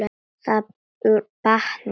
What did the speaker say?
Það batnar.